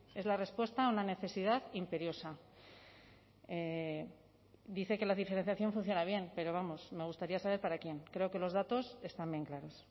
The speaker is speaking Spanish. es la respuesta a una necesidad imperiosa dice que la diferenciación funciona bien pero vamos me gustaría saber para quien creo que los datos están bien claros